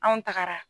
Anw tagara